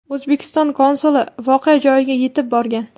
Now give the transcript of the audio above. O‘zbekiston konsuli voqea joyiga yetib borgan .